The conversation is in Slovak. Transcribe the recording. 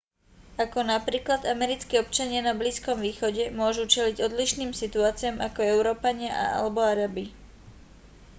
ako príklad americkí občania na blízkom východe môžu čeliť odlišným situáciám ako európania alebo arabi